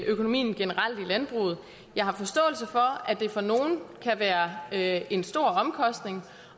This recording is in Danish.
økonomien generelt i landbruget jeg har forståelse for at det for nogle kan være være en stor omkostning